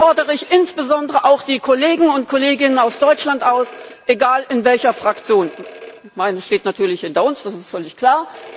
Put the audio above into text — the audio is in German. Ich fordere insbesondere auch die Kolleginnen und Kollegen aus Deutschland auf, egal in welcher Fraktion meine steht natürlich hinter uns, das ist völlig klar.